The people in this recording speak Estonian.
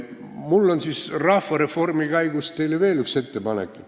Mul on rahvareformi käigus teile veel üks ettepanek.